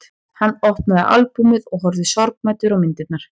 Hann opnaði albúmið og horfði sorgmæddur á myndirnar.